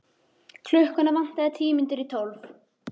Klukkuna vantaði tíu mínútur í tólf.